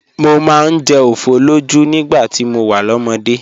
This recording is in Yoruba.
Mo máa ń jẹ ofoloju nígbà tí mo wà lọ́mọdé.